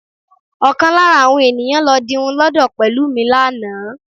Ọkàn lára àwọn eníyán lọ dirun lọ́dọ̀ Pẹ̀lúmi lánàá